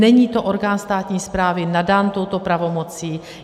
Není to orgán státní správy nadaný touto pravomocí.